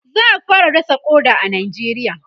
za'a fara dasa ƙoda a nijeriya